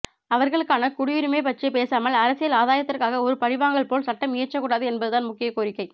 அவர்களுக்கான குடியுரிமை பற்றி பேசாமல் அரசியல் ஆதாயத்திறகாக ஒரு பழிவாங்கல் போல் சட்டம் இயற்றக்கூடாது என்பது தான் முக்கிய கோரிக்கை